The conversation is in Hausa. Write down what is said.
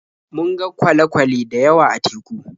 Mun ga kwale-kwale da yawa a teku.